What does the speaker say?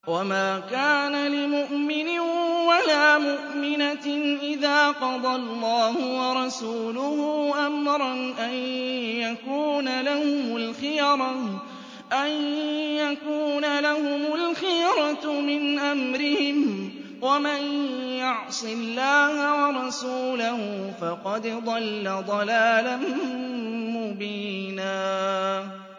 وَمَا كَانَ لِمُؤْمِنٍ وَلَا مُؤْمِنَةٍ إِذَا قَضَى اللَّهُ وَرَسُولُهُ أَمْرًا أَن يَكُونَ لَهُمُ الْخِيَرَةُ مِنْ أَمْرِهِمْ ۗ وَمَن يَعْصِ اللَّهَ وَرَسُولَهُ فَقَدْ ضَلَّ ضَلَالًا مُّبِينًا